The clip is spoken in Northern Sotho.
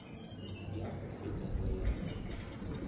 ya go feta le ya